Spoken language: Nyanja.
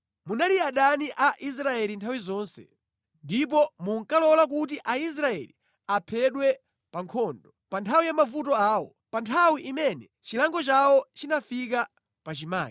“Munali adani a Israeli nthawi zonse, ndipo munkalola kuti Aisraeli aphedwe pa nkhondo pa nthawi ya mavuto awo, pa nthawi imene chilango chawo chinafika pachimake.